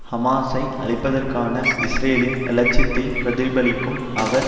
ஹமாஸை அழிப்பதற்கான இஸ்ரேலின் இலட்சியத்தை பிரதிபலிக்கும் அவர்